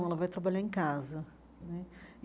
Não, ela vai trabalhar em casa né.